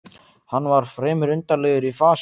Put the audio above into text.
Hann var fremur undarlegur í fasi.